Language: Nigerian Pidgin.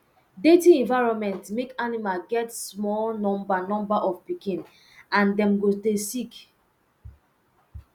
dirty environment make animal get small number number of pikin and dem go dey sick